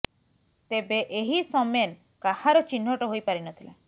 ତେବେଏହି ସମେନ କାହାର ଚିହ୍ନଟ ହୋଇ ପାରି ନ ଥିଲା